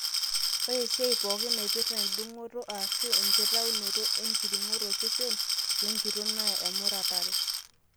ore esiai pooki napirta endung'oto aashu enkitaunoto enkiring'o tosesen lenkitok naa emuratare